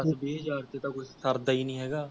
ਦੱਸ ਵੀਹ ਹਜ਼ਾਰ ਚ ਤਾਂ ਕੁਛ ਸਰਦਾ ਹੀ ਨਹੀ ਹੈਗਾ